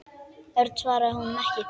Örn svaraði honum ekki.